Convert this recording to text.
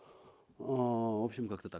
в общем как-то так